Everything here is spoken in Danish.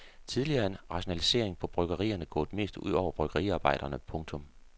Tidligere er rationaliseringerne på bryggerierne gået mest ud over bryggeriarbejderne. punktum